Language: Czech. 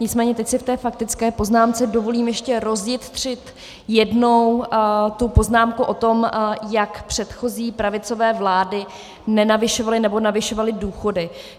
Nicméně teď si v té faktické poznámce dovolím ještě rozjitřit jednou tu poznámku o tom, jak předchozí pravicové vlády nenavyšovaly nebo navyšovaly důchody.